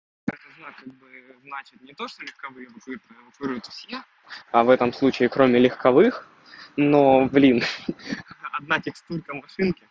а в этом случае кроме легковых но блин